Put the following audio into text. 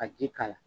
Ka ji k'a la